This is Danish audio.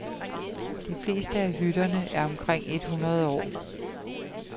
De fleste af hytterne er omkring et hundrede år.